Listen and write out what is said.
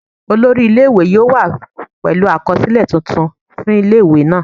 Olori ile-iwe yoo wa pẹlu akọsilẹ tuntun fun ile-iwe naa